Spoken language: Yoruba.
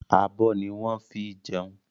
Abọ́ ni wọ́n ń fi jẹun.